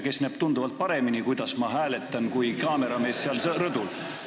Ta näeb tunduvalt paremini, kuidas ma hääletan, kui kaameramees seal rõdul.